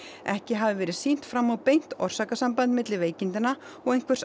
ekki hafi verið sýnt fram á beint orsakasamband milli veikindanna og einhvers